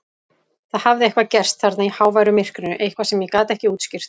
Það hafði eitthvað gerst þarna í háværu myrkrinu, eitthvað sem ég get ekki útskýrt.